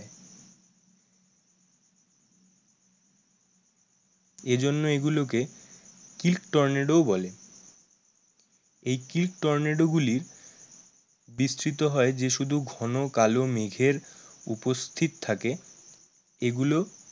এজন্য এগুলোকে টর্নেডো বলে এই টর্নেডো গুলি বিস্থিত হয় যে শুধু ঘন কালো মেঘের উপস্থিত থাকে এগুলো